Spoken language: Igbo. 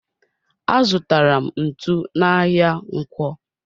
Azutara m ntụ n'ahia ǹkwọ.